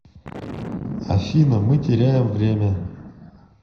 афина мы теряем время